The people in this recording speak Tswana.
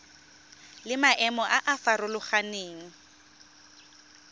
le maemo a a farologaneng